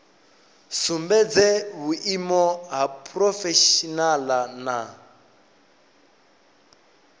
sumbedze vhuimo ha phurofeshinala na